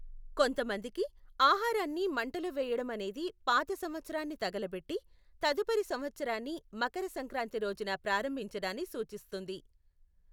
కొంతమందికి, ఆహారాన్ని మంటలో వేయడం అనేది పాత సంవత్సరాన్ని తగలబెట్టి, తదుపరి సంవత్సరాన్ని మకర సంక్రాంతి రోజున ప్రారంభించడాన్ని సూచిస్తుంది .